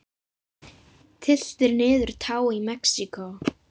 Tylltir niður tá í Mexíkó.